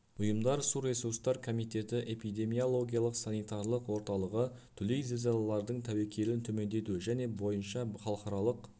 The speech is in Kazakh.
ұйымдар су ресурстар комитеті эпидемиологиялық-санитарлық орталығы дүлей зілзалалардың тәуекелін төмендету және бойынша халықаралық